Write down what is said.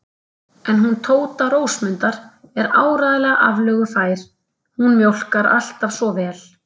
En hún Tóta Rósmundar er áreiðanlega aflögufær, hún mjólkar alltaf svo vel.